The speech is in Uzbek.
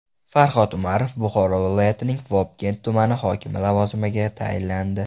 Farhod Umarov Buxoro viloyatining Vobkent tumani hokimi lavozimiga tayinlandi.